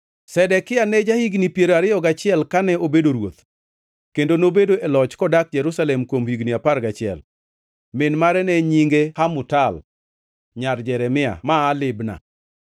Zedekia ne ja-higni piero ariyo gachiel kane obedo ruoth, kendo nobedo e loch kodak Jerusalem kuom higni apar gachiel. Min mare ne nyinge Hamutal nyar Jeremia ma aa Libna.